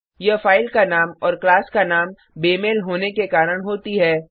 यह फाइल का नाम और क्लास का नाम बेमेल होने के कारण होती है